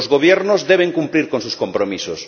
Los gobiernos deben cumplir con sus compromisos.